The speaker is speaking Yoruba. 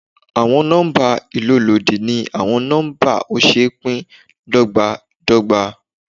Àwọn nọ́mbà ìlólòdi ni àwọn nọ́mbà ó ṣeé pín dọ́gbándọgba.